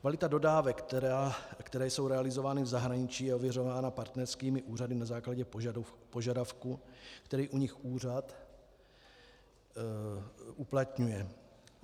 Kvalita dodávek, které jsou realizovány v zahraničí, je ověřována partnerskými úřady na základě požadavku, který u nich úřad uplatňuje.